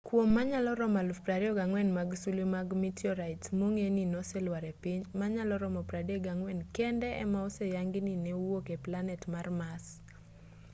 kuom manyalo romo 24,000 mag sulwe mag mitiorait mong'e ni noselwar e piny manyalo romo 34 kende ema oseyangi ni ne owuok e planet mar mars